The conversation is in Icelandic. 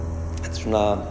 svona